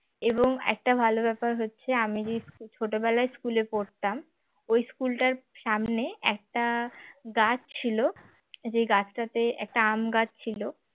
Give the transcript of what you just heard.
এবং একটা ভালো ব্যাপার হচ্ছে আমি যেই ছোটবেলায় স্কুলে পড়তাম ওই স্কুলটার সামনে একটা গাছ ছিল যে গাছটাতে একটা আম গাছ ছিল